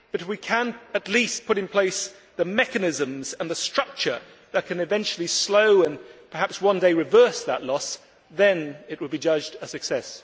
However, if we can at least put in place the mechanisms and the structure that can eventually slow and perhaps one day reverse that loss, then it will be judged a success.